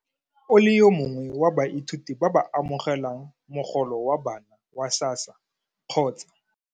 O le yo mongwe wa baithuti ba ba amogelang mogolo wa bana wa SASSA kgotsa.